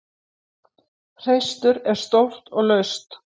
Hreistur er stórt og laust.